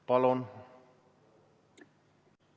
Palun!